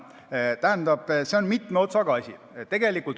See on mitme otsaga asi.